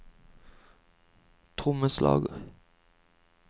trommeslager